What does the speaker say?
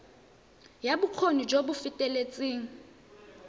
ya bokgoni jo bo feteletseng